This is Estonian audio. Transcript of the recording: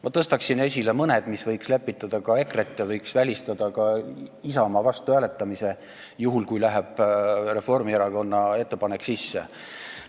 Ma tõstan esile mõned, mis võiks lepitada EKRE-t ja võiks välistada ka Isamaa vastuhääletamise, juhul kui Reformierakonna ettepanek sisse läheb.